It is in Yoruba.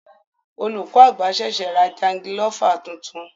Olùkọ àgbà ṣẹṣẹ ra jangilofa tuntun.